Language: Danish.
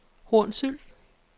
Hornsyld